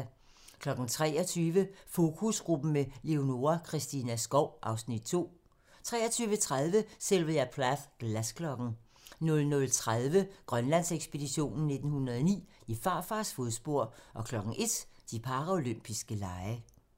23:00: Fokusgruppen med Leonora Christina Skov (Afs. 2) 23:30: Sylvia Plath - Glasklokken 00:30: Grønlandsekspeditionen 1909: I farfars fodspor 01:00: De paralympiske lege